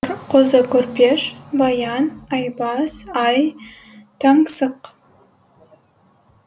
қозы көрпеш баян айбас ай таңсық